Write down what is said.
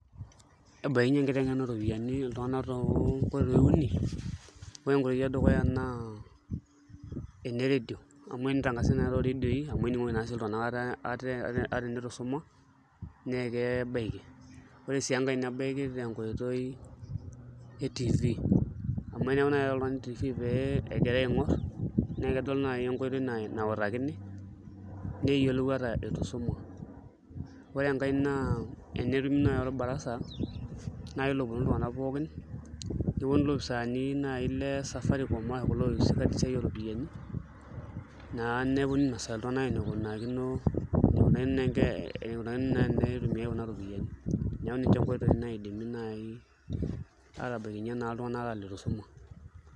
Ebaikinyie enkiteng'ena ooropiyiani iltung'anak toonkoitoi uni ore enkoitoi edukuya naa ena redio amu tenitangasai naai tooredioi amu ening'oki naa sii iltung'anak ate ata enitu isuma naa kebaiki ore sii enkae nebaiki tenkoitoi e TV amu eneeku naai iata oltung'ani TV pee egirai aing'orr naa kedol nai enkoitoi nautakini neyiolou ata itu isuma, ore enkae naa enetumi naai orbarasa naai loponu iltung'anak pookin neponu ilopisaani naai le Safaricom kake kulo ootii esiai ooropiyiani naa neponu ainasaki iltung'anak enikunakino eniko enitumiai kuna ropiyiani, neeku ninche nkoitoi naai naidimi aatabaikinyie iltung'anak ata ilitu isuma.